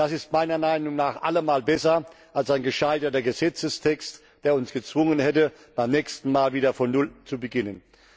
Das ist meiner Meinung nach allemal besser als ein gescheiterter Gesetzestext, der uns gezwungen hätte, beim nächsten Mal wieder von Null zu beginnen.